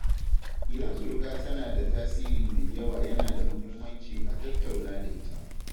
Idan suruka tana da tasiri mai yawa yana da muhimmanci a tattauna da ita.